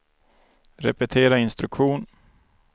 repetera instruktion